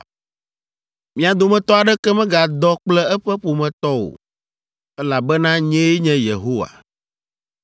“ ‘Mia dometɔ aɖeke megadɔ kple eƒe ƒometɔ o, elabena nyee nye Yehowa.